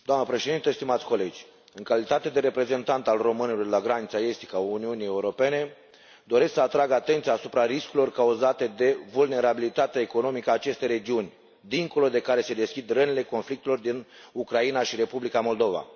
Doamnă președinte, stimați colegi, în calitate de reprezentant al românilor de la granița estică a Uniunii Europene, doresc să atrag atenția asupra riscurilor cauzate de vulnerabilitatea economică a acestei regiuni dincolo de care se deschid rănile conflictelor din Ucraina și Republica Moldova.